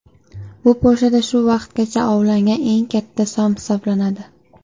Bu Polshada shu vaqtgacha ovlangan eng katta som hisoblanadi.